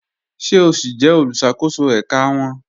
Ṣe o si jẹ oluṣakoso ẹka wọn?